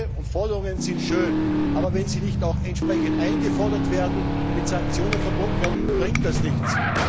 Appelle und Forderungen sind schön, aber wenn sie nicht auch entsprechend eingefordert und mit Sanktionen verbunden werden, bringt das nichts.